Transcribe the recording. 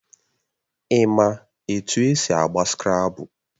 Ị ma etu esi agba Skrabụl?